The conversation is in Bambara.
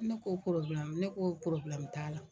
Ne ko ne ko t'a la.